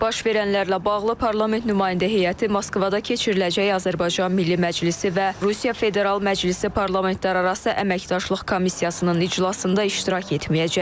Baş verənlərlə bağlı parlament nümayəndə heyəti Moskvada keçiriləcək Azərbaycan Milli Məclisi və Rusiya Federal Məclisi parlamentlərarası əməkdaşlıq komissiyasının iclasında iştirak etməyəcək.